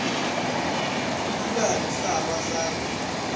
dulang sa ba sa re